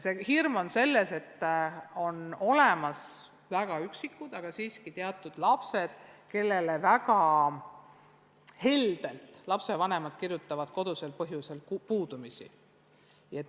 See hirm on selles, et on olemas teatud lapsed – neid on väga vähe, aga neid siiski on –, kellele vanemad kirjutavad väga heldelt kodusel põhjusel puudumisi.